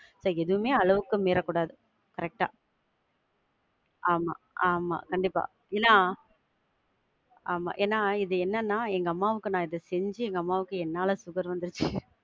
இல்ல எதுவுமே அளவுக்கு மீறக்கூடாது correct ஆ. ஆமா ஆமா, கண்டிப்பா. ஏன ஆமா ஏனா இது என்னென்னா எங்க அம்மாவுக்கு நான் இத செஞ்சி அம்மாவுக்கு என்னால sugar வந்திருச்சி.